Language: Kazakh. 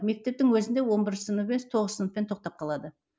мектептің өзінде он бірінші сынып емес тоғызыншы сыныппен тоқтап қалады